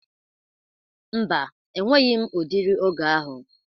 Mba, enweghi m ụdịri oge ahụ